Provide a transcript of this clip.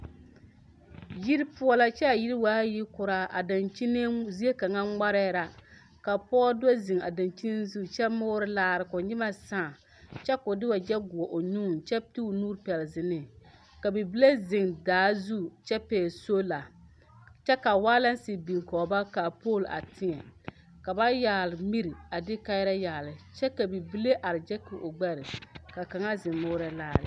Yiri poɔ la kyaa yiri waa yikɔraa o zie kaŋ ŋmarɛɛ la kaa pɔge do ziŋ a daŋkyine zu kyɛ lɔre laare ko nyimɛ saa kyɛ ko de wagyɛ guo o nŋuuŋ kyɛ o nu tu o ziliŋ ka bibile ziŋ daa zu kyɛ pɛgle soola kyɛ ka waalaŋsi biŋ kɔŋ ba kyɛ ka pool a teɛ ka ba yagle mire a de kaayaare yagle kyɛ ka bibile a gyaki o gbɛre ka kaŋa ziŋ mɔrɔ laare.